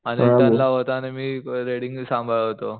Anil turn ला होता आणि मी रेडींग सांभाळत होतो